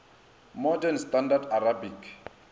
modern standard arabic